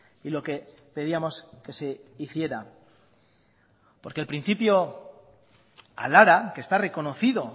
y lo que pedíamos que se hiciera porque el principio al ara que está reconocido